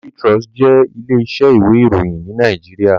Daily Trust jé ilé isẹ́ ìwé ìròyìn ní Naijiria